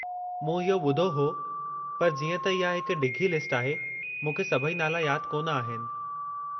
मूं इहो ॿुधो हो, पर जीअं त इहा हिक डिघी लिस्ट आहे, मूंखे सभई नाला यादि कोन आहिनि।